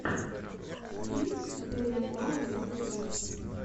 стрим теперь я знаю в ютубе